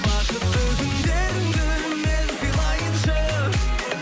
бақытты күндеріңді мен сыйлайыншы